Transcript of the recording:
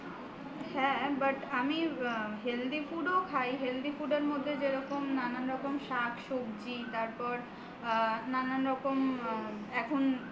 হ্যাঁ but আমি healthy food ও খাই healthy food এর মধ্যে যেরকম নানান রকমের শাক-সবজি তারপর নানান রকম এখন